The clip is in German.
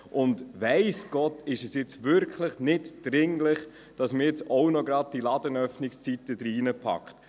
Es ist – weiss Gott! – wirklich nicht dringlich, dass man die Ladenöffnungszeiten auch gleich noch mit hineinpackt.